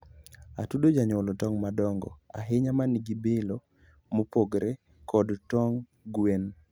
atudo janyuolo tong madongo ahinya ma nigi bilo mopogore kod tong gwen